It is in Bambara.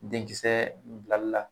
Denkisɛ bilali la